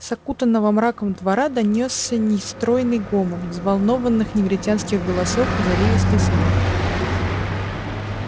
с окутанного мраком двора донёсся нестройный гомон взволнованных негритянских голосов и заливистый смех